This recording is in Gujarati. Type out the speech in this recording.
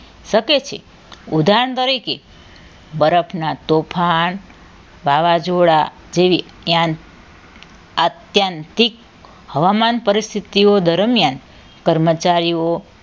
શકે છે ઉદાહરણ તરીકે બરફના તોફાન વાવાઝોડા જેવી જ્ઞાન આધ્યાંત્રિક હવામાન પરિસ્થિતિઓ દરમિયાન કર્મચારીઓ